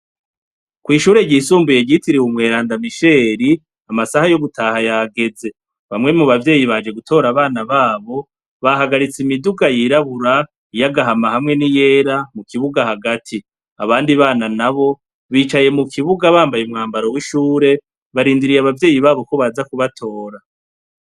Kw'ishure ryisumbuye ryitiriwe umweranda misheri, amasaha yo gutaha yageze, bamwe mubavyeyi baje gutora abana babo, bahagaritse imiduga y'irabura ,iyagahama hamwe n'iyera kubibuga hagati, abandi bana nabo bicaye mukibuga bambaye umwambaro w'ishure barindiriye abavyeyi babo ko baza kubatora.